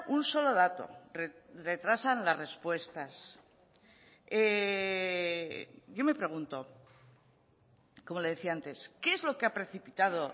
un solo dato retrasan las respuestas yo me pregunto como le decía antes qué es lo que ha precipitado